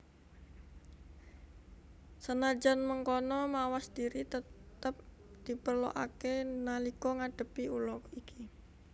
Senajan mengkono mawas diri tetep diperlokaké nalika ngadepi ula iki